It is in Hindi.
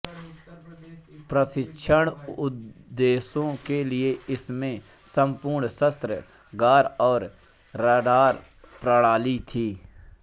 प्रशिक्षण उद्देश्यों के लिए इसमें पूर्ण शस्त्रागार और रडार प्रणाली थी